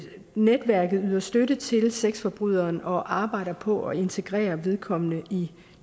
netværket yder støtte til sexforbryderen og arbejder på at integrere vedkommende i